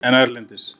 En erlendis?